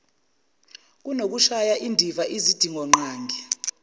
kunokushaya indiva izidingonqangi